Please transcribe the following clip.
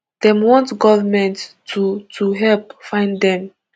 dem want government to to help find dem